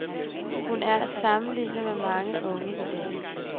Hun er at sammenligne med mange unge i dag.